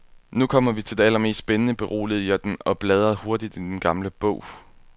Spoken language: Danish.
Nu kommer vi til det allermest spændende, beroligede jeg den, og bladrede hurtigt i den gamle bog.